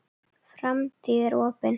Framtíð mín er opin.